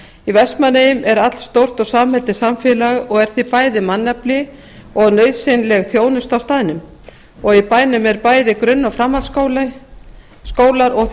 í vestmannaeyjum er allstórt og samheldið samfélag og er því bæði mannafli og nauðsynleg þjónusta á staðnum og í bænum er bæði grunn og framhaldsskólar og því